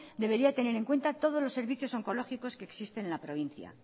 debería de tener en cuenta todos los servicios oncológicos que existen en la provincia